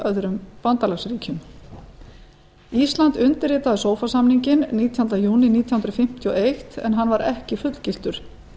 öðrum bandalagsríkjum ísland undirritaði sofa samninginn nítjánda júní nítján hundruð fimmtíu og eitt en hann var ekki fullgiltur